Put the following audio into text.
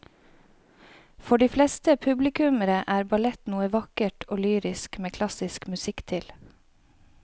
For de fleste publikummere er ballett noe vakkert og lyrisk med klassisk musikk til.